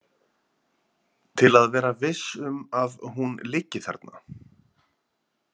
Til að vera viss um að hún liggi þarna.